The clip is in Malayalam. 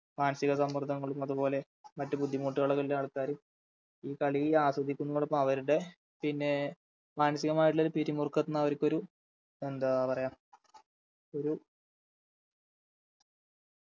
മാനസ്സിക സമ്മർദ്ദങ്ങളും അതുപോലെ മറ്റു ബുദ്ധിമുട്ടുകളൊക്കെയുള്ള ആൾക്കാര് ഈ കളി ആസ്വദിക്കുന്നതോടൊപ്പം അവരുടെ പിന്നെ മനസികമായിട്ടുള്ളൊരു പിരിമുറുക്കത്തിന്ന് അവർക്കൊരു എന്താ പറയാ ഒരു